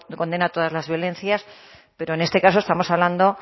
condena todas las violencias pero en este caso estamos hablando